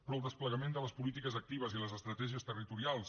però el desplegament de les polítiques actives i les estratègies territorials